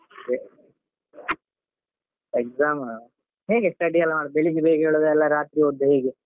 Exam ಹೇಗೆ study ಎಲ್ಲ ಮಾಡುದು ಬೆಳಿಗ್ಗೆ ಬೇಗ ಏಳುದ ಇಲ್ಲ ರಾತ್ರಿ ಓದುದ ಹೇಗೆ?